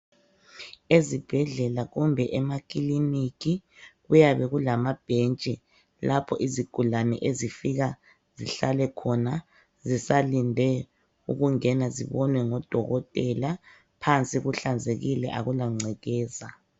Ezibhedlela kumbe amakilinika kuyabe kulendawo zokuhlala, lapho izigulane besalinde odokotela, phansi kuhlanzekile akula ngcekeza